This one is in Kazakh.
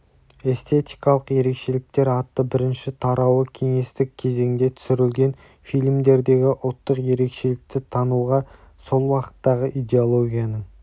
эстетикалық ерекшеліктер атты бірінші тарауы кеңестік кезеңде түсірілген фильмдердегі ұлттық ерекшелікті тануға сол уақыттағы идеологияның